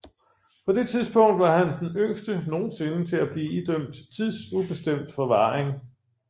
På det tidspunkt var han den yngste nogensinde til at blive idømt tidsubestemt forvaring